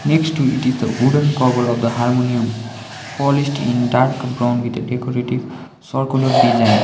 next to it is the wooden cover of the harmonium polished in dark brown with a decorative circular design.